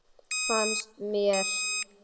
Fannst mér.